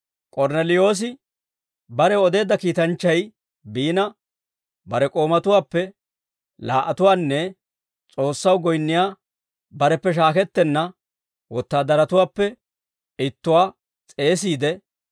K'ornneliyoosi barew odeedda kiitanchchay biina, bare k'oomatuwaappe laa"atuwaanne S'oossaw goyinniyaa bareppe shaakettenna wotaadaratuwaappe ittuwaa s'eesiide,